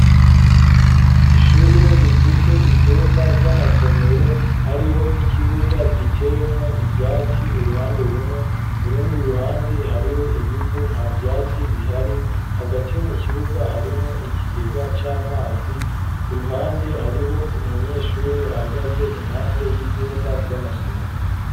Ishure, rifise ivyumba vy'amasomero ,hariho n'ikibuga giteyemwo ivyatsi ,uruhande rumwe, urundi ruhande hariho ibivu nta vyatsi bihari ,hagati mu kibuga harimwo ikigega c'amazi, ku ruhande hariho umunyeshure ahagaze impande y'ivyumba vy'amasomero.